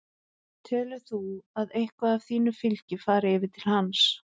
Telur þú að eitthvað af þínu fylgi fari yfir til hans?